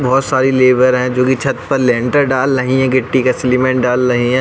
बोहोत सारी लेबर है जो कि छत पर लैंटर ढाल रही हैं। गिट्टी का सीमेंट डाल रही हैं।